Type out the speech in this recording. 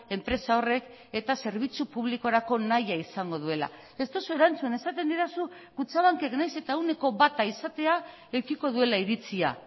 enpresa horrek eta zerbitzu publikorako nahia izango duela ez duzu erantzun esaten didazu kutxabankek nahiz eta ehuneko bata izatea edukiko duela iritzia